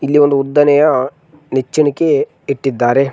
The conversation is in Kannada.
ಇಲ್ಲಿ ಒಂದು ಉದ್ದನೆಯ ನೆಚ್ಚಿಣಿಗಕೆ ಇಟ್ಟಿದ್ದಾರೆ.